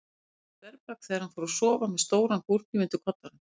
Það keyrði um þverbak þegar hann fór að sofa með stóran búrhníf undir koddanum.